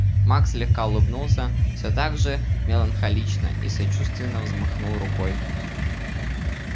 маг слегка улыбнулся всё так же меланхолично и сочувственно взмахнул рукой